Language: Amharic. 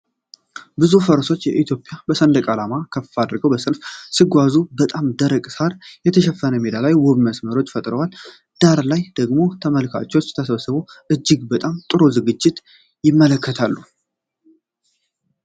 ብዙ ፈረሰኞች የኢትዮጵያን ሰንደቅ ዓላማዎች ከፍ አድርገው በሰልፍ ሲጓዙ፣ በጣም ደረቅ ሳር የተሸፈነ ሜዳ ላይ ውብ መስመር ፈጥረዋል። ዳር ላይ ደግሞ ተመልካቾች ተሰብስበው እጅግ በጣም ጥሩ ዝግጅት ይመለከታሉ።